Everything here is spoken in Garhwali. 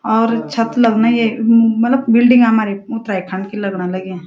और छत लगन ये म मलब बिल्डिंग हमारे ई उत्तराखण्ड की लगण लगीं।